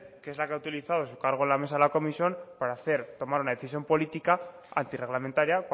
que es la que ha utilizado su cargo en la mesa de la comisión para tomar una decisión política antirreglamentaria